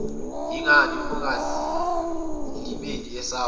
yingani ungazilimeli esakho